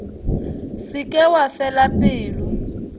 se ke wa fela pelo